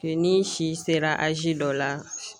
Ke n'i si sera azi dɔ la